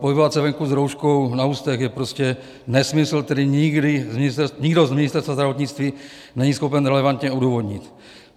Pohybovat se venku s rouškou na ústech je prostě nesmysl, který nikdo z Ministerstva zdravotnictví není schopen relevantně odůvodnit.